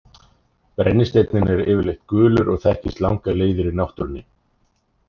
Brennisteinninn er yfirleitt gulur og þekkist langar leiðir í náttúrunni.